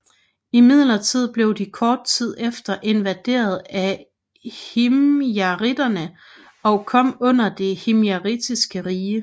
Imidlertid blev de kort tid efter invaderet af himjariterne og kom under det himjaritiske rige